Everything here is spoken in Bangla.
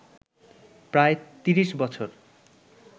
প্রায় ৩০ বছর